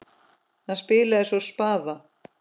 Hann spilaði svo spaða.